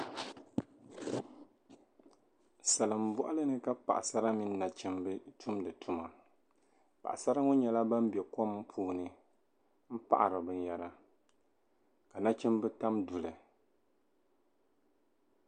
salimbɔɣili ni ka paɣisara mini nachimba tumdi tuma paɣisara ŋɔ nyɛla ban be kom puuni m-paɣiri binyɛra ka nachimba tam duli